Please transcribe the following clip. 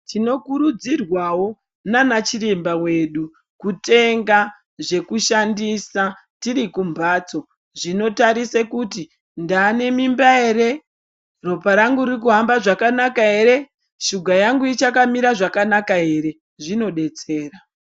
Tinokurudzirwawo nana chiremba edu kutenga zvekushandisa tiri kumhatso zvinotarise kuti ndanemimba ere ropa rangu riri kuhamba zvakanaka ere shuga ichakamira zvakanaka ere zvinodetsera.